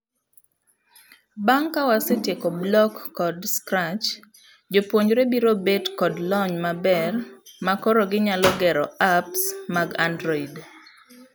Bang' kawasetieko Block kod Scratch, jopuonjre biro bet kod lony maber makoro ginyalo gero apps mag android.